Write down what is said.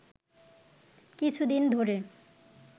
কিছুদিন ধরে